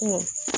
Ko